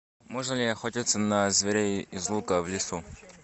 можно ли охотиться на зверей из лука в лесу